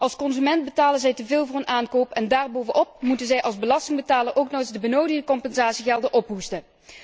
Als consument betalen zij te veel voor hun aankoop en daar bovenop moeten zij als belastingbetaler ook nog eens de benodigde compensatiegelden ophoesten.